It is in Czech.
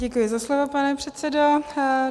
Děkuji za slovo, pane předsedo.